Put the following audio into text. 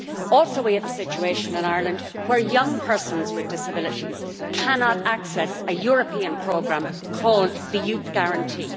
Also, we have a situation in Ireland where young persons with disabilities cannot access a European programme called the Youth Guarantee.